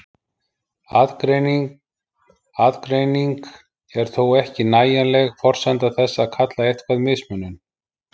Aðgreining er þó ekki nægjanleg forsenda þess að kalla eitthvað mismunun.